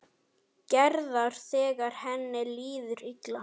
Gerðar þegar henni líður illa.